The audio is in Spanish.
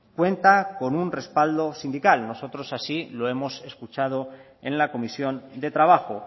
cuenta con un respaldo sindical nosotros así lo hemos escuchado en la comisión de trabajo